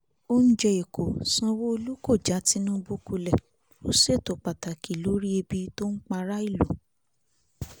oúnjẹ ẹ̀kọ́ sanwó-olu kò já tinubu kulẹ̀ ó ṣètò pàtàkì lórí ẹbí tó ń para ìlú